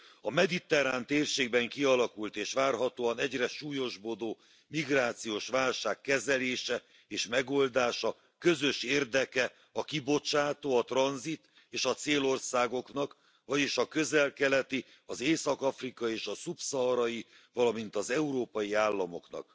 A mediterrán térségben kialakult, és várhatóan egyre súlyosbodó migrációs válság kezelése és megoldása közös érdeke a kibocsátó, a tranzit és a célországoknak, vagyis a közel keleti, az észak afrikai és a szubszaharai, valamint az európai államoknak.